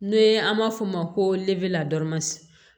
N'o ye an b'a f'o ma ko la